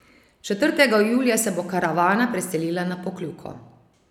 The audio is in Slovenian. Četrtega julija se bo karavana preselila na Pokljuko.